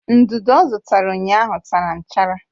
Ndudu ọ zụtara ụnyaahụ tara nchara